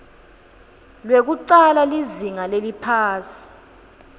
lwekucala lizinga leliphasi